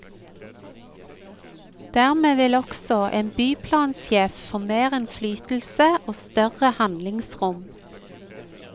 Dermed vil også en byplansjef få mer innflytelse og større handlingsrom.